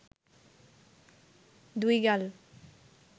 দুই গাল